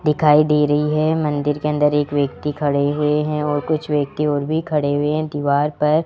दिखाई दे रही है मंदिर के अंदर एक व्यक्ति खड़े हुए हैं और कुछ व्यक्ति और भी खड़े हुए हैं दीवार पर --